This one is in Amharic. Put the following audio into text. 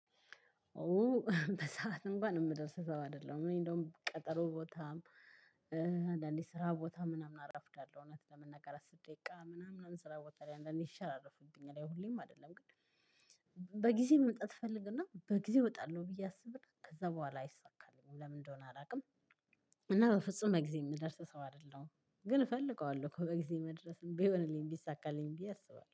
ኦ በሰአት እንኳን የምደርስ ሰው አይደለም እኔ እንደውም ቀጠሮ ቦታም። አንዳንዴ ስራ ቦታ ምናምን አረፍዳለሁ እውነት ለመናገር አስር ደቂቃ ምናምን ስራ ቦታ ላይ አንዳንዴ ሲሸራርፉብኝ ላይ ሁሌም አይደለም ግን። በጊዜ መምጣት እፈልግና በጊዜ እወጣለሁ ብዬ አስብና ከዛ በኋላ አይሳካም ለምን እንደሆነ አላውቅም። እና በፍጹም በጊዜ የምደርስ ሰው አይደለሁም ግን እፈልገዋለሁ እኮ በጊዜ መድረስም ቢሆንልኝ እንዲሳካልኝ ብዬ አስባለሁ